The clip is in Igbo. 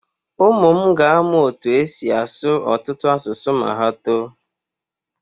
Ụmụ m ga-amụ otú e si asụ ọtụtụ asụsụ ma ha too.